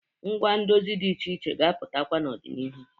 Ngwa ndozi dị iche iche ga-apụtakwa n'ọdịnihu.